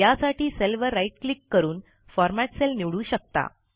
यासाठी सेल वर right click करून फॉर्मॅट सेल निवडू शकता